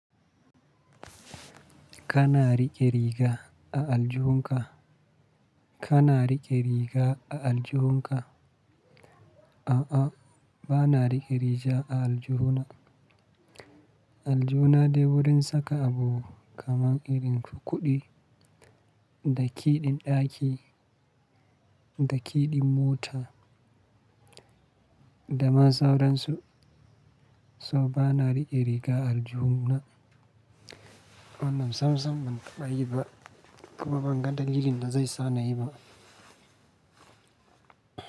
Kana riƙe riga a aljuhunka? Kana riƙe riga a aljuhunka? A'a, ba na riƙe riga a aljuhuna. Aljuhuna dai wurin saka abu kaman irin ku kuɗi, da kiɗin ɗaki, da kiɗin mota da ma sauransu. So ba na riƙe riga a aljihuna. Wannan sam sam ban fa'i ba, kuma ban ga dalilin da zai sa na yi ba.